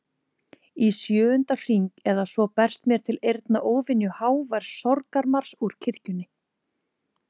Í sjöunda hring eða svo berst mér til eyrna óvenju hávær sorgarmars úr kirkjunni.